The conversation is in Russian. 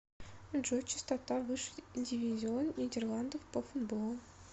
джой частота высший дивизион нидерландов по футболу